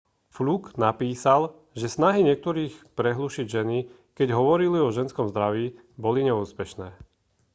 fluke napísal že snahy niektorých prehlušiť ženy keď hovorili o ženskom zdraví boli neúspešné